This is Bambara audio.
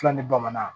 Filɛ ni bamanan